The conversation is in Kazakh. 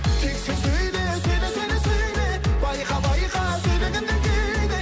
тек сен сөйле сөйле сөйле сөйле байқа байқа сөйлегенде кейде